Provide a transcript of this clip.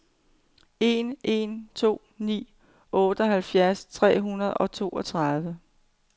en en to ni otteoghalvfjerds tre hundrede og toogtredive